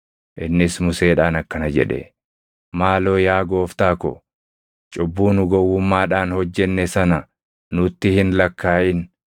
innis Museedhaan akkana jedhe; “Maaloo yaa gooftaa ko, cubbuu nu gowwummaadhaan hojjenne sana nutti hin lakkaaʼin.